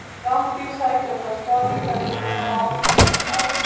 Rándýr sækja á þá staði þar sem þau hafa áður fengið æti.